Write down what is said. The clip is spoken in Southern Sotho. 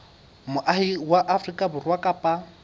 moahi wa afrika borwa kapa